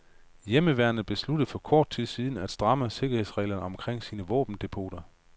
Hjemmeværnet besluttede for kort tid siden at stramme sikkerhedsreglerne omkring sine våbendepoter.